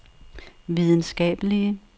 videnskabelige